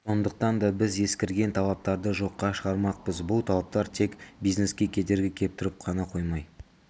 сондықтан да біз ескірген талаптарды жоққа шығармақпыз бұл талаптар тек бизнеске кедергі келтіріп қана қоймай